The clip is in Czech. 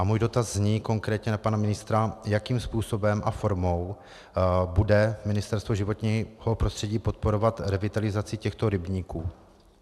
A můj dotaz zní konkrétně na pana ministra, jakým způsobem a formou bude Ministerstvo životního prostředí podporovat revitalizaci těchto rybníků.